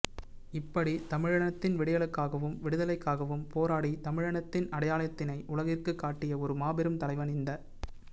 இப்படி தமிழினத்தின் விடியலுக்காகவும் விடுதலைக்காகவும் போராடி தமிழினத்தின் அடையாளத்தினை உலகிற்கு காட்டிய ஒரு மாபெரும்தலைவன் இந்த